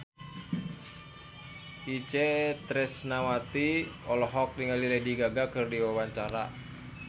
Itje Tresnawati olohok ningali Lady Gaga keur diwawancara